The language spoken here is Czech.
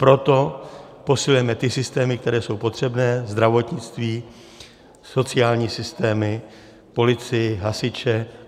Proto posilujeme ty systémy, které jsou potřebné, zdravotnictví, sociální systémy, policii, hasiče.